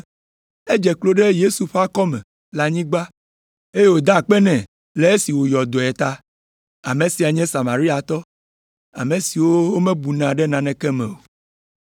Edze klo ɖe Yesu ƒe akɔme le anyigba, eye wòda akpe nɛ le esi wòyɔ dɔe ta. Ame sia nye Samariatɔ, ame siwo womebuna ɖe naneke me o.